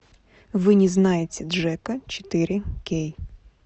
вы не знаете джека четыре кей